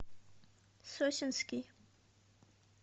сосенский